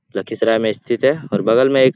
लखीसराय में स्थित है और बगल में एक--